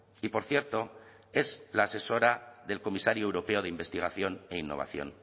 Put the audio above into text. y por cierto es la asesora del comisario europeo de investigación e innovación